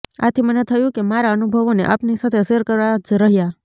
આથી મને થયું કે મારા અનુભવોને આપની સાથે શેર કરવા જ રહ્યા